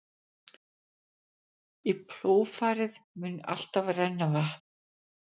Í plógfarið mun alltaf renna vatn.